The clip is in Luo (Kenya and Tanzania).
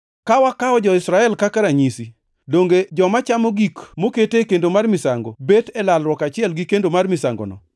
Ka wakawo jo-Israel kaka ranyisi: Donge joma chamo gik mokete kendo mar misango bet e lalruok achiel gi kendo mar misangono?